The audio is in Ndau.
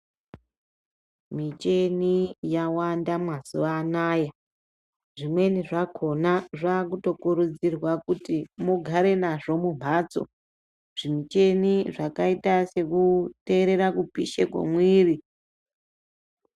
Micheni yawanda mazuwa anaya. Zvimweni zvakhona zvaakutokurudzirwa kuti mugare nazvo mumphatso, zvimucheni zvakaita sekuteerera kupishe kwomwiiri.